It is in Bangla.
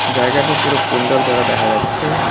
জায়গাটি পুরো পিণ্ডল করা দেখা যাচ্ছে।